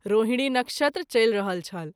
रोहिणी नक्षत्र चलि रहल छल।